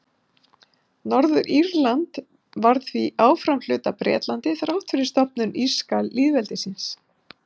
Norður-Írland varð því áfram hluti af Bretlandi þrátt fyrir stofnun írska lýðveldisins.